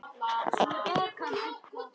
Svo rak hann upp hlátur.